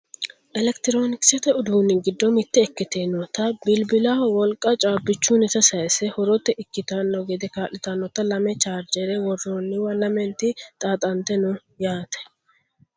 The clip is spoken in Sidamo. elekitiroonikisete uduunni giddo mitte ikkitinota bilbulaho wolqa caabbichunnita sayiisse horote ikkitanno gede kaa'litannota lame chaarjere worroonniwa lamenti xaaxante no yaate